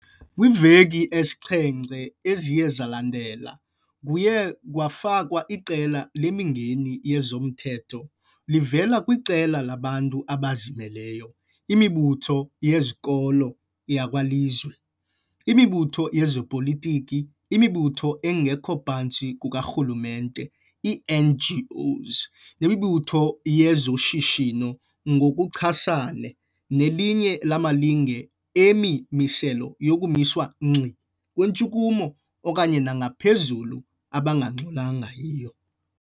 Kwiiveki esixhenxe eziye zalandela, kuye kwafakwa iqela lemingeni yezomthetho livela kwiqela labantu abazimeleyo, imibutho yezenkolo yakwalizwi, imibutho yezopolitiko, imibutho engekho phantsi kukarhulumente, ii-NGOs, nemibutho yezoshishino ngokuchasane nelinye lamalinge emimiselo yokumiswa ngxi kwintshukumo okanye nangaphezulu abangangxolanga yiyo.